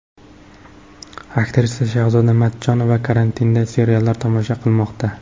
Aktrisa Shahzoda Matchonova karantinda seriallar tomosha qilmoqda.